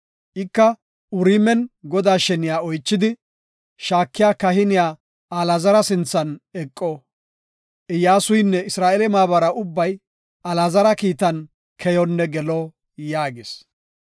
Ika Uriimen Godaa sheniya oychidi shaakiya kahiniya Alaazara sinthan eqo. Iyyasuynne Isra7eele maabaray ubbay Alaazara kiitan keyonne gelo” yaagis.